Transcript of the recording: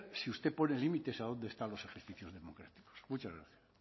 si usted pone límites a dónde están los ejercicios democráticos muchas gracias